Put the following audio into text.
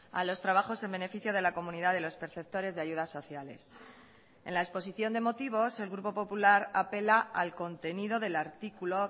a los trabajos en beneficio de la comunidad de los perceptores de ayudas sociales en la exposición de motivos el grupo popular apela al contenido del artículo